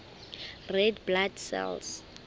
red blood cells